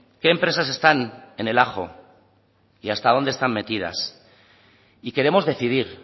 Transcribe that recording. qué empresas están en el ajo y hasta dónde están metidas y queremos decidir